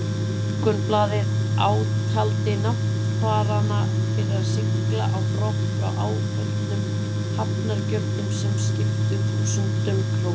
Morgunblaðið átaldi náttfarana fyrir að sigla á brott frá áföllnum hafnargjöldum, sem skiptu þúsundum króna.